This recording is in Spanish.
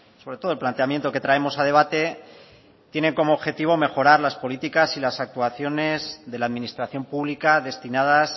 sobre todo el planteamiento que traemos a debate tiene como objetivo mejorar las políticas y las actuaciones de la administración pública destinadas